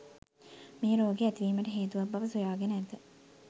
මේ රෝගය ඇතිවීමට හේතුවක් බව සොයාගෙන ඇත.